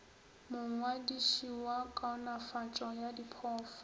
mongwadiši wa kaonafatšo ya diphoofolo